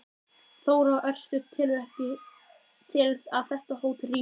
Þóra: Örstutt, telurðu að þetta hótel rísi eftir þetta?